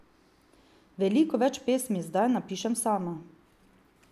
Veliko več pesmi zdaj napišem sama.